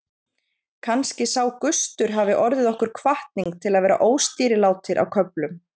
Kannski sá gustur hafi orðið okkur hvatning til að vera óstýrilátir á köflum.